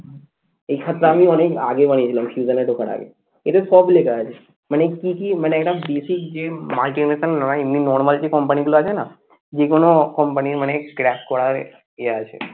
এই খাতা আমি অনেক আগে বানিয়ে ছিলাম ঢোকার আগে এটা সব লেখা আছে মানে কি কি মানে একদম basic যে multinational নয়. এমনি normal যে company গুলো আছে না যেকোনো company মানে crack করার ইয়ে আছে